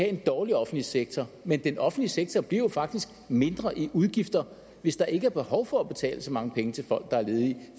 en dårlig offentlig sektor men den offentlige sektor bliver jo faktisk mindre i udgifter hvis der ikke er behov for at betale så mange penge til folk der er ledige